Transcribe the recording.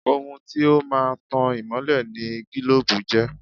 Ohun tí ó máa ń tan ìmọ́lẹ̀ ni gílóòbù jẹ́